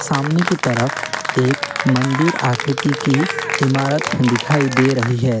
सामने की तरफ एक मंदिर आकृति की इमारत दिखाई दे रही है।